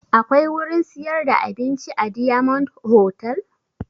Akwai wurin siyar da abinci a diyamond hotal?